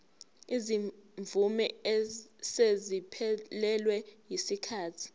izimvume eseziphelelwe yisikhathi